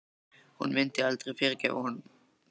Hún myndi aldrei fyrirgefa honum það.